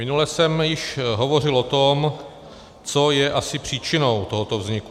Minule jsem již hovořil o tom, co je asi příčinou tohoto vzniku.